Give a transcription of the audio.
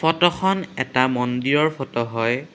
ফটোখন এটা মন্দিৰৰ ফটো হয়।